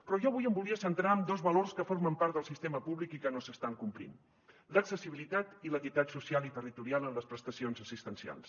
però jo avui em volia centrar en dos valors que formen part del sistema públic i que no s’estan complint l’accessibilitat i l’equitat social i territorial en les prestacions assistencials